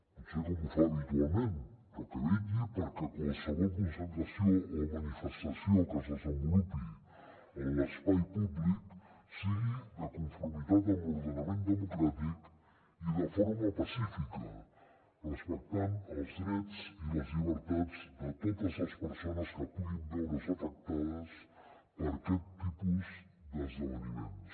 potser com ho fa habitualment però que vetlli perquè qualsevol concentració o manifestació que es desenvolupi en l’espai públic sigui de conformitat amb l’ordenament democràtic i de forma pacífica respectant els drets i les llibertats de totes les persones que puguin veure’s afectades per aquest tipus d’esdeveniments